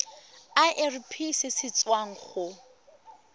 irp se se tswang go